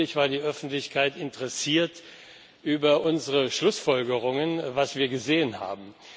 Und natürlich war die Öffentlichkeit interessiert an unseren Schlussfolgerungen, daran, was wir gesehen haben.